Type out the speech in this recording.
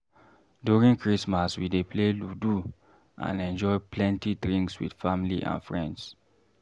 During Christmas, we dey play "Ludu" and enjoy plenty drinks with family and friends.